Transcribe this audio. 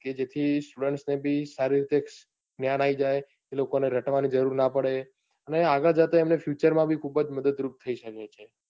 કે જેર્થી student ને બી સારી રીતે જ્ઞાન આવી જાય લોકો ને રટવાની જરૂર ના પડે ને આગળ જતા એમને future માં બી ખુબજ મદદ રૂપ થઈ શકે છે.